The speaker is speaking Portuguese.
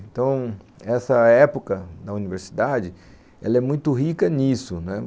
Então, essa época da universidade, ela é muito rica nisso, né.